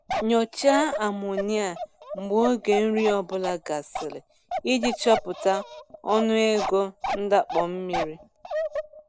Nyochaa amonia mgbe oge nri ọ bụla gasịrị iji chọpụta ọnụego ndakpọ mmiri.